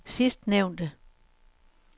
sidstnævnte